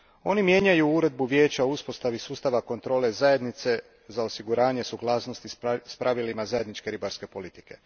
Oni mijenjauju Uredbu Vijeća o uspostavi sustava kontrole Zajednice za osiguranje suglasnosti s pravilima zajedničke ribarstvene politike.